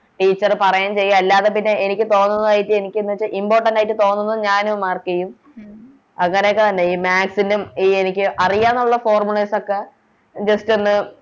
Teacher പറയേം ചെയ്യും അല്ലാതെ പിന്നെ എനിക്ക് തോന്നുന്നത് എനിക്കെന്ന് വെച്ചാൽ Important ആയിട്ട് തോന്നുന്നത് ഞാനും Mark ചെയ്യും അങ്ങനെയൊക്കെന്നെ ഈ Maths ലും ഈ എനിക്ക് അറിയന്നൊള്ള Formulas ഒക്കെ Just ഒന്ന്